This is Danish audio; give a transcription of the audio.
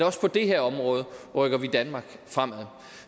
også på det her område rykker danmark fremad